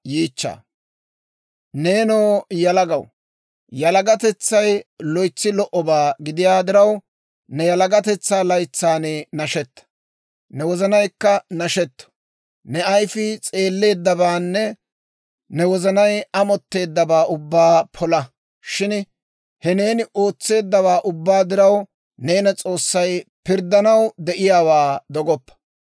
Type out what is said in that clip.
Neenoo yalagaw, yalagatetsay loytsi lo"obaa gidiyaa diraw, ne yalagatetsaa laytsan nashetta; ne wozanaykka nashetto. Ne ayifii s'eelleeddabaanne ne wozanay amotteeddabaa ubbaa pola. Shin, he neeni ootseeddawaa ubbaa diraw, neena S'oossay pirddanaw de'iyaawaa dogoppa.